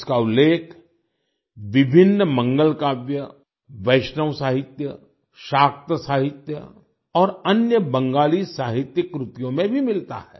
इसका उल्लेख विभिन्न मंगलकाव्य वैष्णव साहित्य शाक्त साहित्य और अन्य बंगाली साहित्यिक कृतियों में भी मिलता है